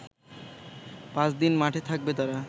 পাঁচদিন মাঠে থাকবে তারা